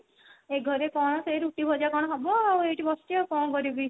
ଏ ଘରେ କଣ ସେଇ ରୁଟି ଭଜା କଣ ହେବ ଆଉ ଏଠି ବସିଛି ଆଉ କଣ କରିବି